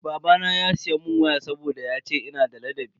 Babana ya siya mun waya saboda yace ina da ladabi.